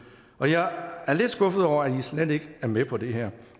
og jeg er lidt skuffet over at i slet ikke er med på det her